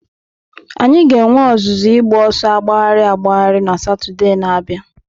Anyị ga-enwe ọzụzụ ịgba ọsọ agbagharị agbagharị na Satọde na-abịa.